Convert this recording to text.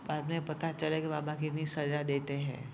बाद मे पता चलेगा कि बाबा के भी सजा देते है।